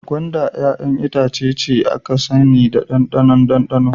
Gwanda 'ya'yan itace ne aka sani da daɗin ɗanɗanonsa.